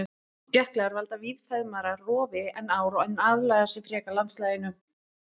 Jöklar valda víðfeðmara rofi en ár en aðlaga sig frekar landslaginu.